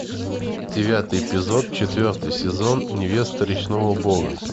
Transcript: девятый эпизод четвертый сезон невеста речного бога